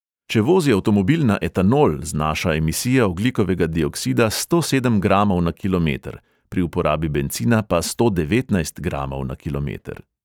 Če vozi avtomobil na etanol, znaša emisija ogljikovega dioksida sto sedem gramov na kilometer, pri uporabi bencina pa sto devetnajst gramov na kilometer.